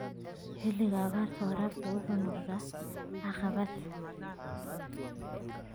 Xilliga abaarta, waraabku wuxuu noqdaa caqabad.